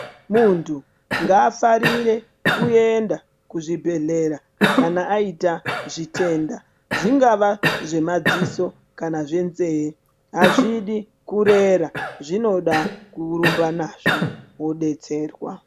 Muntu ngaafarire kuenda kuzvibhedhlera kana aita zvitenda zvingawa zvemadziso kana zvenzee hazvidi kurera zvinoda kurumba nazvo wodetserwa.